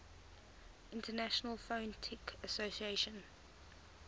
international phonetic association